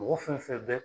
Mɔgɔ fɛn fɛn bɛ